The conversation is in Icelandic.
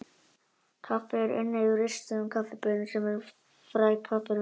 Kaffi er unnið úr ristuðum kaffibaunum sem eru fræ kaffirunna.